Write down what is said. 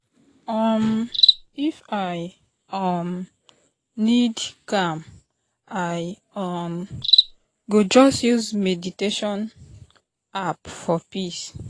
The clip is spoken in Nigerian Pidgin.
um if i um need calm i um go just use meditation app for peace.